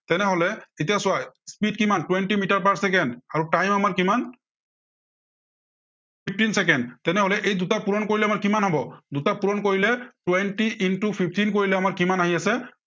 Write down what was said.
তেনেহলে, এতিয়া চোৱা speed কিমান twenty মিটাৰ per চেকেণ্ড আৰু time আমাৰ কিমান fifteen চেকেণ্ড, তেনেহলে এই দুটা পূৰণ কৰিলে আমাৰ কিমান হব, দুটা পূৰণ কৰিলে twenty into fifteen কৰিলে আমাৰ কিমান আহি আছে